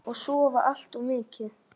Og sofa allt of mikið.